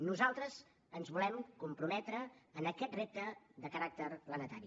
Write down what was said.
nosaltres ens volem comprometre en aquest repte de caràcter planetari